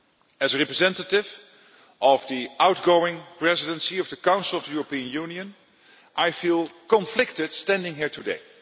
As a representative of the outgoing Presidency of the Council of the European Union, I feel conflicted standing here today.